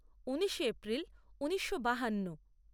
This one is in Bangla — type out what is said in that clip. উনিশে এপ্রিল ঊনিশো বাহান্ন